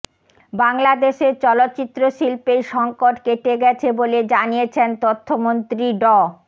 বাংলাদেশের চলচ্চিত্র শিল্পের সংকট কেটে গেছে বলে জানিয়েছেন তথ্যমন্ত্রী ড